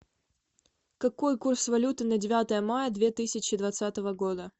какой курс валюты на девятое мая две тысячи двадцатого года